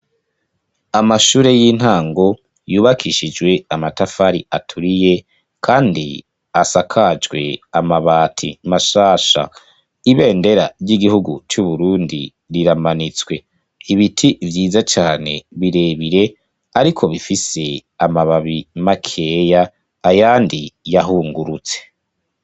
Amashure y'intango yubakishijwe amatafari aturiye kandi asakajwe amabati mashasha . Ibendera ry'igihugu cu Burundi riramanitswe ibiti vyiza cane birebire ,ariko bifise amababi makeya ayandi yahungurutse.